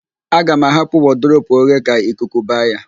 Aga m ahapụ wọdụrobu oghe ka ikuku ba ya